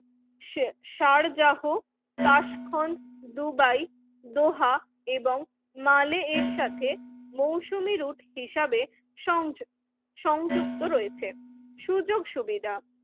Sharjah Tashkent Dubai Doha এবং মালে এর সাথে মৌসুমী রুট হিসাবে সংযোগ সংযুক্ত রয়েছে সুযোগ সুবিধা